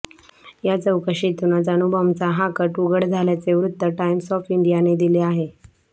या चौकशीतूनच अणुबॉम्बचा हा कट उघड झाल्याचे वृत्त टाइम्स ऑफ इंडियाने दिले आहे